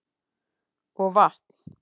Og vatn.